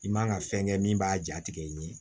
I man ka fɛn kɛ min b'a jatigɛ in ye